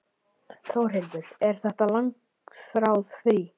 Þórhildur: Er þetta langþráð frí?